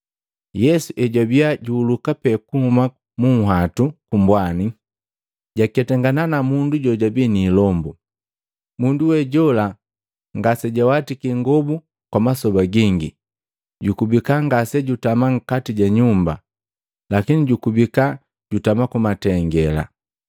Yesu ejwabiya juhuluka pee kuhuma munhwatu kumbwani, jwaketangana na mundu jojabii niilombu. Mundu we jola ngasejawatiki ingobu kwa masoba gingi, jukubika ngasejutama nkati ja nyumba, lakini jukubika jutama ku matengela.